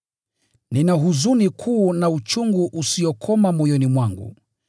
Nina huzuni kuu na uchungu usiokoma moyoni mwangu.